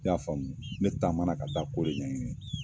I y'a faamu ? Ne taamana ka taa ko de ɲɛ ɲini.